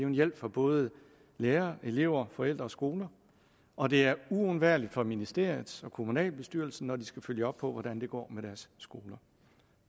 en hjælp for både lærere elever forældre og skoler og det er uundværligt for ministeriet og kommunalbestyrelsen når de skal følge op på hvordan det går med deres skoler